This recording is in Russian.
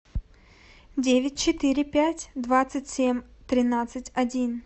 девять четыре пять двадцать семь тринадцать один